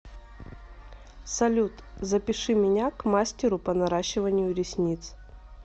салют запиши меня к мастеру по наращиванию ресниц